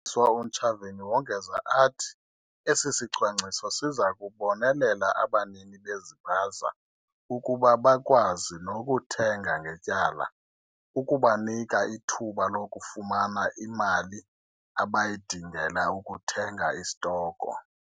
UMphathiswa uNtshavheni wongeza athi esi sicwangciso siza kubonelela abanini bezipaza ukuba bakwazi nokuthenga ngetyala, ukubanika ithuba lokufumana imali abayidingela ukuthenga istoko.